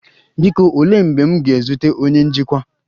Biko, olee mgbe m ga-ezute onye njikwa?